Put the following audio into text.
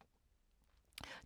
TV 2